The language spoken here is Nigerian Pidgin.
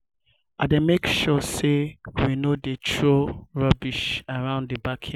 i dey make sure say we no dey throw rubbish around the backyard.